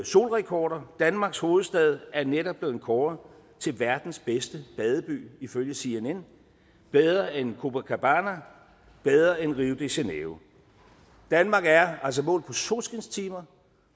solrekorder danmarks hovedstad er netop blevet kåret til verdens bedste badeby ifølge cnn bedre end copacabana bedre end rio de janeiro danmark er altså målt på solskinstimer